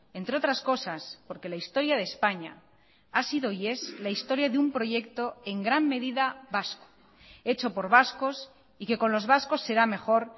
entre otras cosas porque la historia de españa ha sido y es la historia de un proyecto en gran medida vasco hecho por vascos y que con los vascos será mejor